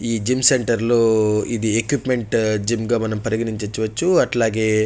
ఈ gym centre లో ఇది ఎక్విప్మెంట్ జిమ్ గ మనం పరిగణించవచ్చు అట్లాగే --